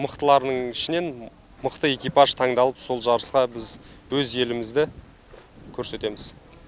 мықтылардың ішінен мықты экипаж таңдалып сол жарысқа біз өз елімізді көрсетеміз